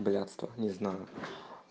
блядство не знаю